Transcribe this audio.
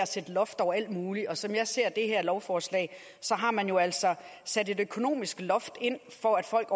at sætte loft over alt muligt og som jeg ser det her lovforslag har man jo altså sat et økonomisk loft ind for at folk